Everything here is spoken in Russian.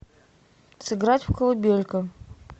сыграть в колыбелька